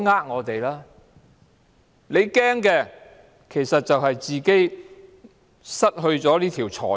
如果政府害怕，只是害怕自己失去這條財路。